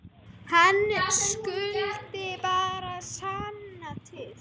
Hann skuli bara sanna til.